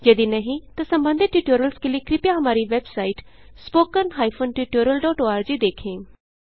यदि नहीं तो संबंधित ट्यूटोरियल्स के लिए कृपया हमारी वेबसाइट httpspoken tutorialorg देखें